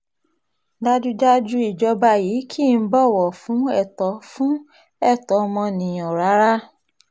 dájúdájú ìjọba yìí kì í bọ̀wọ̀ fún ẹ̀tọ́ fún ẹ̀tọ́ ọmọnìyàn rárá